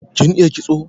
Kin iya kitso?